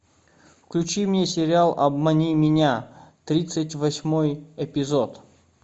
включи мне сериал обмани меня тридцать восьмой эпизод